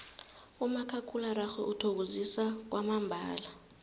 umakhakhulararhwe uthokozisa kwamambala